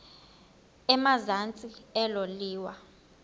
emazantsi elo liwa